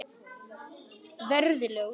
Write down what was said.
Verði ljós.